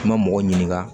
Kuma mɔgɔ ɲininka